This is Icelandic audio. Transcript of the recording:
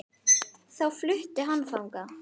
Þá flutti hann þangað.